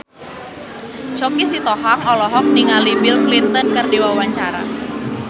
Choky Sitohang olohok ningali Bill Clinton keur diwawancara